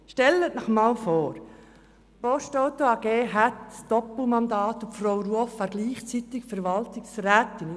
Stellen Sie sich vor, die Postauto AG würde ein Doppelmandat erlauben, und Frau Ruoff wäre gleichzeitig Verwaltungsrätin.